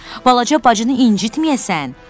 Balaca bacını incitməyəsən.